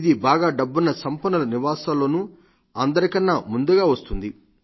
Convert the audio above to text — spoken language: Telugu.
ఇది బాగా డబ్బున్న సంపన్నుల నివాసాల్లోనూ అందరికన్నా ముందుగా వస్తుంది